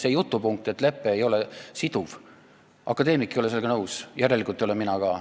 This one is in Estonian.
Selle jutupunktiga, et lepe ei ole siduv, ei ole nõus akadeemik, järelikult ei ole mina ka.